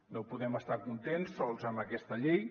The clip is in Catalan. no podem estar contents sols amb aquesta llei